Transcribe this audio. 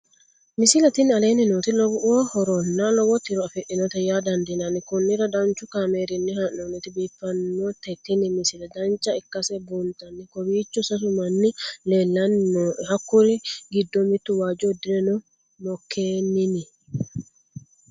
misile tini aleenni nooti lowo horonna lowo tiro afidhinote yaa dandiinanni konnira danchu kaameerinni haa'noonnite biiffannote tini misile dancha ikkase buunxanni kowiicho sasu manni leelanni nooe hakkuri gido mitu waajjo udire no mokenini